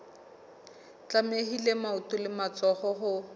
tlamehile maoto le matsoho ho